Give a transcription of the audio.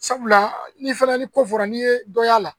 Sabula n'i fana ni ko fɔra n'i ye dɔ y'a la